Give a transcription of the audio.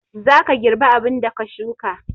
zaka girbi abunda ka shuka